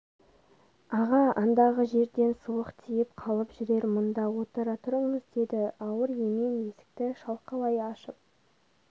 аға андағы жерден суық тиіп қалып жүрер мұнда отыра тұрыңыз деді ауыр емен есікті шалқалай ашып